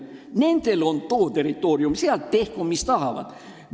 Nendel on oma territoorium ja tehku seal, mis tahavad.